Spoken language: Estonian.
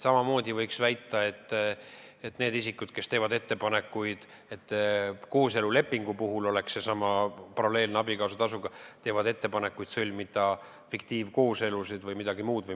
Samamoodi võiks väita, et need isikud, kes teevad ettepanekuid, et kooselulepingu puhul oleks olemas seesama paralleelne abikaasatasu, teevad ettepaneku sõlmida fiktiivkooselusid või midagi muud.